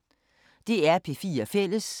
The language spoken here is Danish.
DR P4 Fælles